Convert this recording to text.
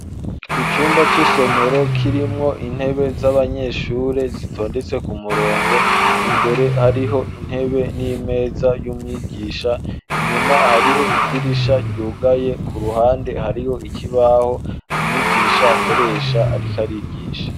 Icumba c'isomero kirimwo intebe z'abanyeshure zitondetse ku murongo imbere hariho intebe n'imeza y'umwigisha inyuma hariho idirisha ryugaye ku ruhande hariho ikibaho amwigisha akoresha, ariko arigisha.